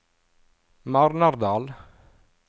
Marnardal